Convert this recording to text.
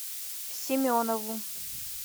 семенову